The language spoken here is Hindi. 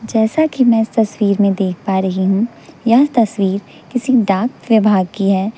जैसा कि मैं इस तस्वीर में देख पा रही हूं यह तस्वीर किसी डाक विभाग की हैं।